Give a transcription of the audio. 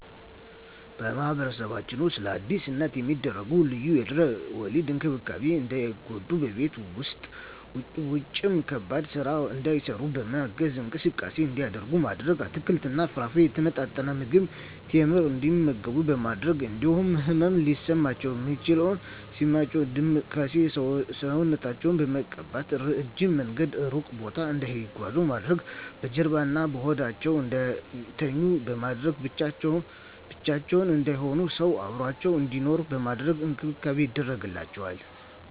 በማህበረሰባችን ውስጥ ለአዲስ እናት የሚደረጉ ልዩ የድህረ ወሊድ እንክብካቤዎች እንዳይጎዱ በቤት ውስጥም ውጭም ከባድ ስራ እንዳይሰሩ በማገዝ፣ እንቅስቃሴ እንዲያደርጉ ማድረግ፣ አትክልትና ፍራፍሬ፣ የተመጣጠነ ምግብ፣ ቴምር እንዲመገቡ በማድረግ እንዲሁም ህመም ሲሰማቸው ምች ሲመታቸው ዳማከሴ ሰውነታቸውን በመቀባት፣ እረጅም መንገድና እሩቅ ቦታ እንዳይጓዙ ማድረግ፣ በጀርባዋ እና በሆዳቸው እንዳይተኙ በማድረግ፣ ብቻቸውን እንዳይሆኑ ሰው አብሮአቸው እንዲኖር በማድረግ እንክብካቤ ይደረግላቸዋል።